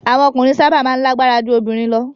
Awon okunrin saba maa n lagbara ju obirin lo